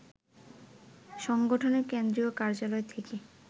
সংগঠনের কেন্দ্রীয় কার্যালয় থেকে